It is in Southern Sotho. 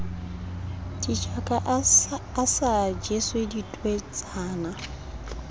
ditjaka a sa jese thweetsana